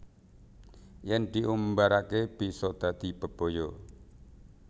Yen diumbarake bisa dadi bebaya